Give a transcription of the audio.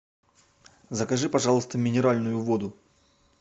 закажи пожалуйста минеральную воду